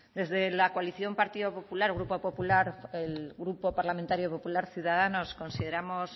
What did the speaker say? desde la coalición partido popular grupo popular el grupo parlamentario popular ciudadanos consideramos